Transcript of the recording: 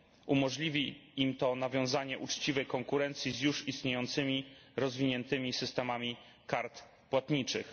Umożliwi im to nawiązanie uczciwej konkurencji z już istniejącymi, rozwiniętymi systemami kart płatniczych.